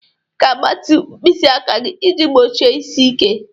Ị ga-agbatị mkpịsị aka gị iji gbochie isi ike.